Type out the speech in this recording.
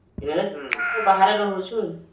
ହମ୍ଏବେତ ବାହାରେ ରହୁଛୁ